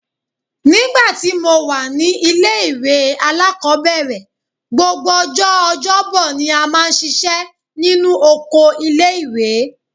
Nígbà tí mo wà ní ilé-ìwé alákọ́bẹ̀rẹ̀, gbogbo ọjọ́ ọjọ́bọ ni a máa ń ṣiṣẹ́ nínú oko ilé-ìwé